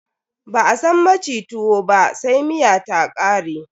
Ba a san maci tuwo ba sai miya ta ƙare.